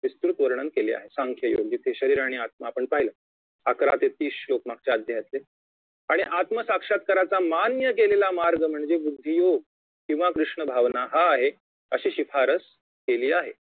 विस्तृत वर्णन केले आहे सांख्य योग जिथे शरीर आणि आत्मा आपण पाहिले आकरा ते तीस श्लोक मागच्या अध्यायाचे आणि आत्मसाक्षात्काराचा मान्य केलेला मार्ग म्हणजे बुद्धी योग किंवा कृष्ण भावना हा आहे अशी शिफारस केली आहे